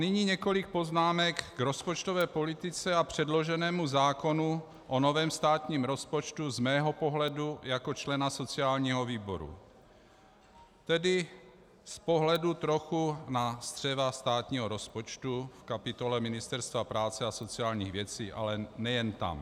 Nyní několik poznámek k rozpočtové politice a předloženému zákonu o novém státním rozpočtu z mého pohledu jako člena sociálního výboru, tedy z pohledu trochu na střeva státního rozpočtu v kapitole Ministerstva práce a sociálních věcí, ale nejen tam.